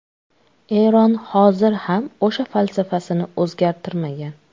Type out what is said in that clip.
Eron hozir ham o‘sha falsafasini o‘zgartirmagan.